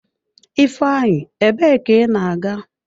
Ifeanyi, ebe ka ị na-aga?